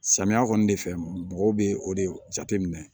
Samiya kɔni de fɛ mɔgɔw bɛ o de jateminɛ